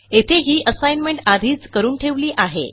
येथे ही असाइनमेंट आधीच करून ठेवली आहे